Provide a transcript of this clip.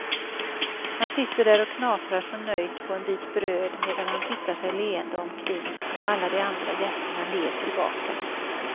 Han sitter där och knaprar så nöjt på en bit bröd medan han tittar sig leende omkring och alla de andra gästerna ler tillbaka.